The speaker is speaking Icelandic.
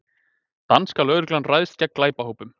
Danska lögreglan ræðst gegn glæpahópum